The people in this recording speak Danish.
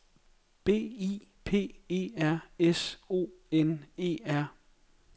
B I P E R S O N E R